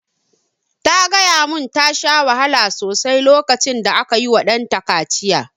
Ta gaya mun ta sha wahala sosai lokacin da aka yi wa ɗanta kaciya